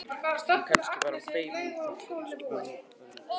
En kannski var hann feiminn enn þá og kannski var hún það líka.